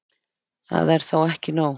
Það er þó ekki nóg.